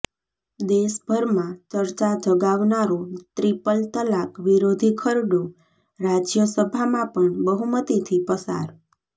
દેશભરમાં ચર્ચા જગાવનારો ટ્રિપલ તલાક વિરોધી ખરડો રાજયસભામાં પણ બહુમતિથી પસાર